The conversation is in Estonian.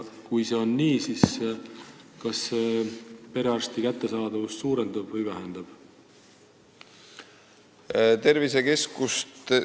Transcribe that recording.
Kui see on nii, siis kas kogu see projekt perearstiabi kättesaadavust suurendab või vähendab?